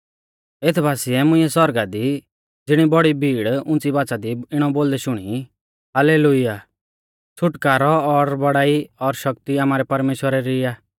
एथ बासिऐ मुंइऐ सौरगा दी ज़िणी बौड़ी भीड़ उंच़ी बाच़ा दी इणौ बोलदै शुणी हाल्लेलुय्याह छ़ुटकारौ और बौड़ाई और शक्ति आमारै परमेश्‍वरा री ई आ